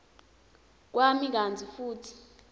kwami kantsi futsi